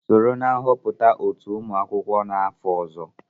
Sonye na nhọpụta otu ụmụ akwụkwọ n'afọ ọzọ!.